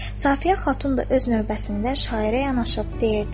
Safiyə Xatun da öz növbəsindən şairə yanaşıb deyirdi.